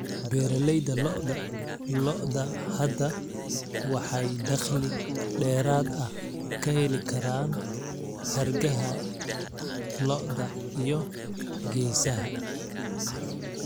Beeralayda lo'da lo'da hadda waxay dakhli dheeraad ah ka heli karaan hargaha lo'da iyo geesaha.